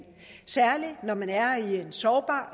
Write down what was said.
særlig når man er i en sårbar